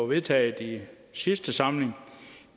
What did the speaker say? vedtaget i sidste samling